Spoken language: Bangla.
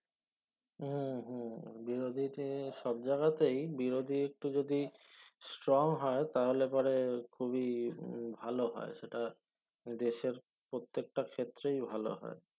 হম হম বিরোধীতে সব জায়গাতেই বিরোধী একটু যদি strong হয় তাহলে পরে খুবি ভালো হয় সেটা দেশের প্রত্যেক টা ক্ষেত্রে ভালো হয়